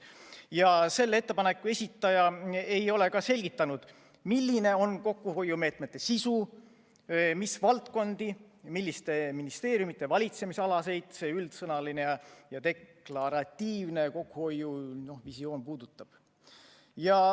Ja selle ettepaneku esitaja ei ole ka selgitanud, milline on kokkuhoiumeetmete sisu, mis valdkondi, milliste ministeeriumide valitsemisalasid selline üldsõnaline ja deklaratiivne kokkuhoiuvisioon puudutaks.